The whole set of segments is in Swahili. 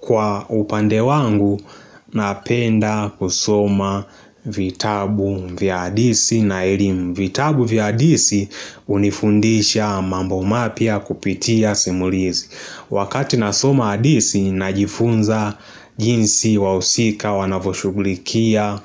Kwa upande wangu, napenda kusoma vitabu vya adisi na elimu. Vitabu vya adisi hunifundisha mambo mapya kupitia simulizi. Wakati nasoma adisi, najifunza jinsi wahusika wanavyoshughulikia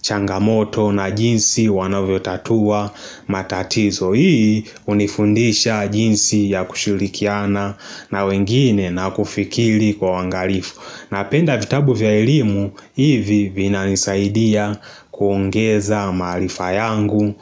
changamoto na jinsi wanavyotatua matatizo. So hii hunifundisha jinsi ya kushirikiana na wengine na kufikili kwa wangalifu. Napenda vitabu vya elimu hivi vinanisaidia kuongeza maarifa yangu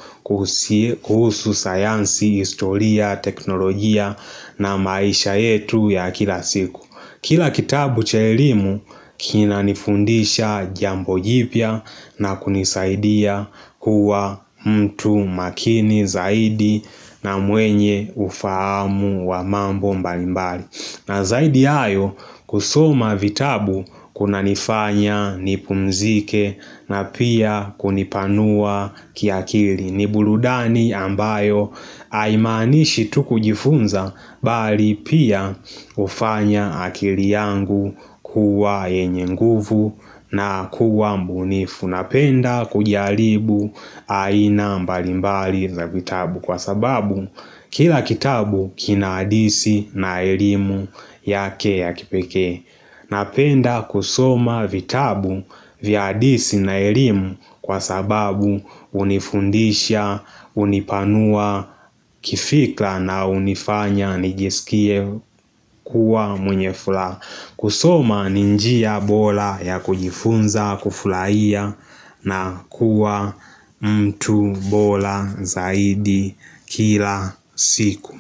kuhusu sayansi, historia, teknolojia na maisha yetu ya kila siku Kila kitabu cha elimu kinanifundisha jambo jipya na kunisaidia kuwa mtu makini zaidi na mwenye ufahamu wa mambo mbalimbali. Na zaidi ya hayo kusoma vitabu kunanifanya nipumzike na pia kunipanua kiakili ni burudani ambayo haimaanishi tu kujifunza bali pia hufanya akili yangu kuwa yenye nguvu na kuwa mbunifu Napenda kujaribu aina mbali mbali za vitabu kwa sababu kila kitabu kina adisi na elimu yake ya kipekee. Napenda kusoma vitabu vya adisi na elimu kwa sababu hunifundisha, hunipanua, kifikra na hunifanya nijiskie kuwa mwenyefula. Kusoma ni njia bora ya kujifunza, kufurahia na kuwa mtu bora zaidi kila siku.